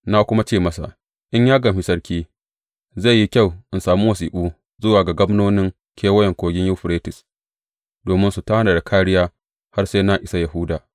Na kuma ce masa, In ya gamshi sarki, zai yi kyau in sami wasiƙu zuwa ga gwamnonin Kewayen Kogin Yuferites, domin su tanada kāriya har sai na isa Yahuda?